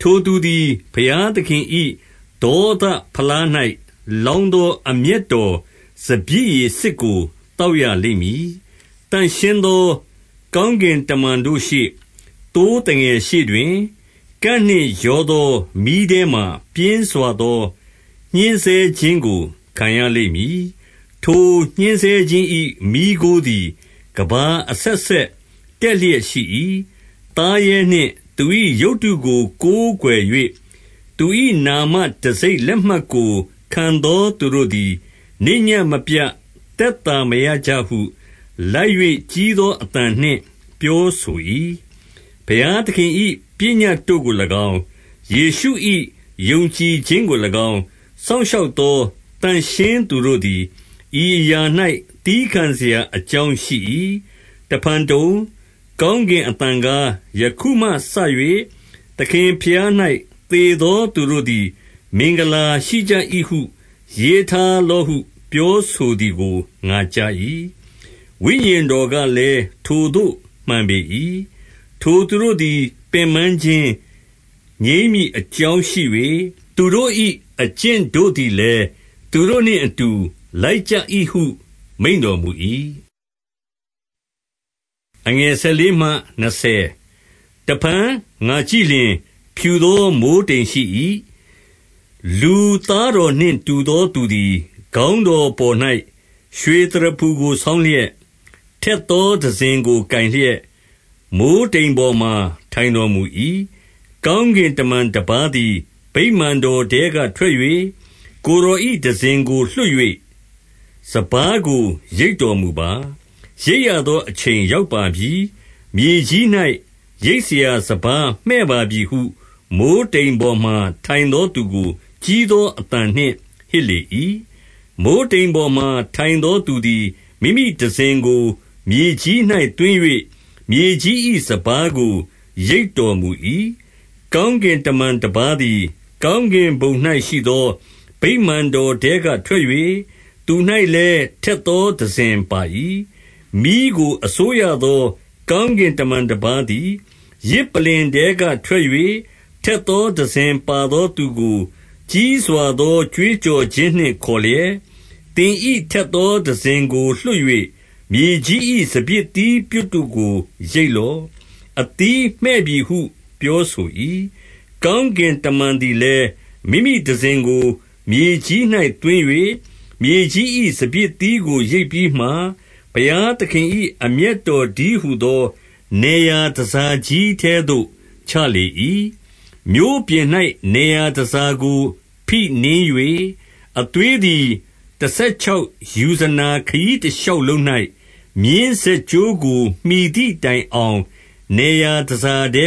10 ထိုသူသည်ဘုရားသခင်၏ ဒေါသဖလား၌ လောင်းသော အမျက်တော်စပျစ်ရည်စစ်ကို သောက်ရ လိမ့်မည်။ သန့်ရှင်းသောကောင်းကင်တမန်တို့ရှေ့၊ သိုးသငယ်ရှေ့တွင်၊ ကန့်နှင့်ရောသောမီးထဲမှာ ပြင်းစွာ သော ညှဉ်းဆဲခြင်းကို ခံရလိမ့်မည်။ 11 ထိုညှဉ်းဆဲခြင်း၏ မီးခိုးသည် ကမ္ဘာအဆက်ဆက် တက်လျက်ရှိ၏။ သားရဲနှင့် သူ၏ရုပ်တုကို ကိုးကွယ် ၍၊ သူ၏နာမတံဆိပ်လက်မှတ်ကို ခံသောသူတို့သည် နေ့ညဉ့်မပြတ် သက်သာ မရကြဟု၊ လိုက်၍ကြီးသော အသံနှင့် ပြောဆို၏။ 12 ဘုရားသခင်၏ပညတ်တို့ကို၎င်း၊ ယေရှု၏ ယုံကြည်ခြင်းကို၎င်း၊ စောင့်ရှောက်သော သန့်ရှင်းသူ တို့သည် ဤအရာ၌ သည်းခံစရာအကြောင်းရှိ၏။ 13 တဖန်တုံ၊ ကောင်းကင်အသံကား၊ ယခုမှစ၍ သခင်ဘုရား၌ သေသောသူတို့သည် မင်္ဂလာရှိကြ၏ဟု ရေးထားလော့ဟု ပြောဆိုသည်ကို ငါကြား၏။ ဝိညာဉ်တော်ကလည်း၊ ထိုသို့မှန်ပေ၏။ ထိုသူတို့သည် ပင်ပန်း ခြင်းငြိမ်းမည်အကြောင်းရှိ၍၊ သူတို့၏ အကျင့်တို့သည်လည်း သူတို့နှင့်အတူ လိုက်ကြ၏ဟုမိန့်တော်မူ၏။ 14 တဖန်ငါကြည့်လျှင်၊ ဖြူသောမိုဃ်းတိမ်ရှိ၏။ လူသားတော်နှင့် တူသောသူသည် ခေါင်းတော်ပေါ်၌ ရွှေ သရဖူကိုဆောင်းလျက်၊ ထက်သော တံစဉ်ကို ကိုင်လျက်၊ မိုဃ်းတိမ်ပေါ်မှာ ထိုင်တော်မူ၏။ 15 ကောင်းကင်တမန်တပါးသည် ဗိမာန်တော်ထဲက ထွက်၍၊ ကိုယ်တော်၏တံစဉ်ကိုလွှတ်၍ စပါးကို ရိတ်တော်မူပါ။ ရိတ်ရသောအချိန်ရောက်ပါပြီ။ မြေကြီး၌ ရိတ်စရာစပါးမှည့်ပါပြီဟု မိုဃ်းတိမ်ပေါ်မှာ ထိုင်သောသူ ကို ကြီးသောအသံနှင့်ဟစ်လေ၏။ 16 မိုဃ်းတိမ်ပေါ်မှာ ထိုင်သောသူသည် မိမိတံစဉ်ကို မြေကြီး၌ သွင်း၍မြေကြီး၏ စပါးကိုရိတ်တော်မူ၏။ 17 ကောင်းကင်တမန်တပါးသည် ကောင်းကင်ဘုံ၌ရှိသော ဗိမာန်တော်ထဲက ထွက်၍ သူ၌လည်း ထက်သော တံစဉ်ပါ၏။ 18 မီးကိုအစိုးရသော ကောင်းကင်တမန်တပါးသည် ယဇ်ပလ္လင် ထဲကထွက်၍ ထက်သော တံစဉ်ပါသော သူကို ကြီးစွာသော ကြွေးကြော်ခြင်းနှင့်ခေါ်လျက်၊ သင်၏ ထက်သောတံစဉ်ကိုလွှတ်၍ မြေကြီး၏ စပျစ်သီးပြွတ် တို့ကိုရိတ်လော့။ အသီးမှည့်ပြီဟု ပြောဆို၏။ 19 ကောင်းကင်တမန်သည်လည်း မိမိတံစဉ်ကို မြေကြီး၌ သွင်း၍ မြေကြီး၏စပျစ်သီးကိုရိတ်ပြီးမှ၊ ဘုရား သခင်၏ အမျက်တော်တည်းဟူသော နယ်ရာတန်ဆာ ကြီးထဲသို့ ချလေ၏။ 20 မြို့ပြင်၌ နယ်ရာတန်ဆာကိုဖိနင်း၍ အသွေးသည် တဆယ်ခြောက်ယူဇနာခရီးတရှောက်လုံး၌ မြင်း ဇက်ကြိုးကို မှီသည်တိုင်အောင် နယ်ရာတ